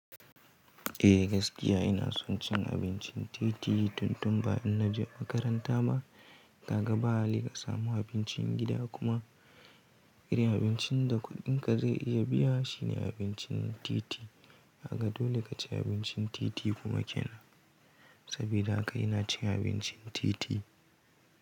Eh gaskiya ina son cin abincin titi tun tun ba in na je makaranta ba. Kaga ba hali ka samu abincin gida kuma irin abincin da kuɗin ka zai iya biya shi ne abincin titi. Haka dole ka ci abincin titi kuma kina. Sabida haka ina cin abincin titi.